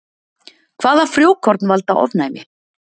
Hvaða frjókorn valda ofnæmi?